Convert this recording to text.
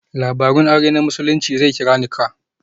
Labarun aure na Musulunci zai kira 'Nikah'.